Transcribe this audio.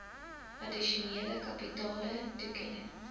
addisionele kapitale toekenning